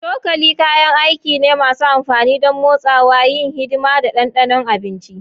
Cokali kayan aiki ne masu amfani don motsawa, yin hidima, da ɗanɗano abinci.